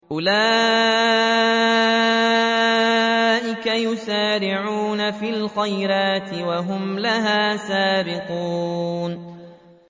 أُولَٰئِكَ يُسَارِعُونَ فِي الْخَيْرَاتِ وَهُمْ لَهَا سَابِقُونَ